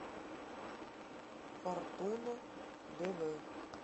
фортуна дв